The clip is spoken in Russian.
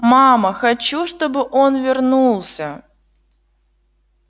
мама хочу чтобы он вернулся